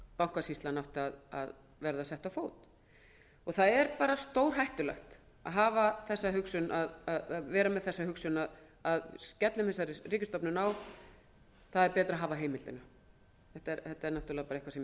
stóð að setja bankasýsluna á fót það er stórhættulegt að vera með þá hugsun að skella þessari ríkisstofnun á það er betra að hafa heimildina þetta er náttúrlega nokkuð